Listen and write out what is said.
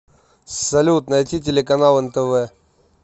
салют найти телеканал нтв